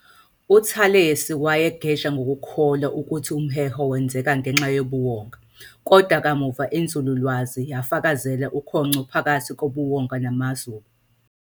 UThalesi wayegeja ngokukholwa ukuthi umheho wenzeka ngenxa yobuwonga, kodwa kamuva inzululwazi yafakazela ukhongco phakathi kobuwonga namazuba.